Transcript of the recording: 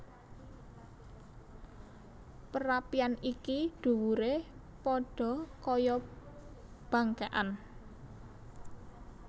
Perapian iki dhuwuré padha kaya bangkékan